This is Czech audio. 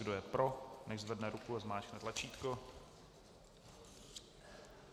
Kdo je pro, nechť zvedne ruku a zmáčkne tlačítko.